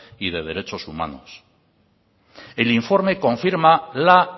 y de derechos humanos el informe confirma la